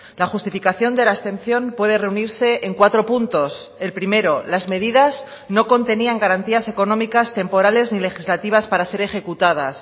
la justificación de la abstención puede reunirse en cuatro puntos el primero las medidas no contenían garantías económicas temporales ni legislativas para ser ejecutadas